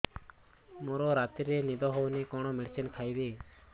ମୋର ରାତିରେ ନିଦ ହଉନି କଣ କଣ ମେଡିସିନ ଖାଇବି